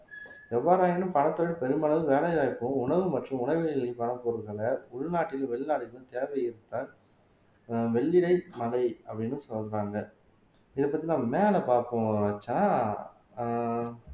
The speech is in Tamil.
எவ்வாறாயினும் பனைத்தொழில் பெருமளவு வேலை வாய்ப்பும் உணவு மற்றும் பணப்பொருட்களை உள்நாட்டில் வெளிநாடுகளிலும் தேவையற்ற ஆஹ் மலை அப்படின்னு சொல்றாங்க இதை பத்தி நான் மேல பாப்போம் ரட்சனா ஆஹ்